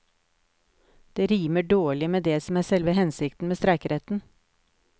Det rimer dårlig med det som er selve hensikten med streikeretten.